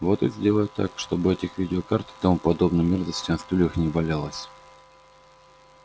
вот и сделай так чтобы этих видеокарт и тому подобной мерзости на стульях не валялось